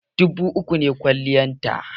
Dubu uku ne kwaliyata